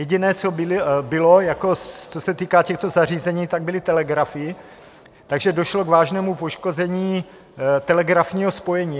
Jediné, co bylo, co se týká těchto zařízení, tak byly telegrafy, takže došlo k vážnému poškození telegrafního spojení.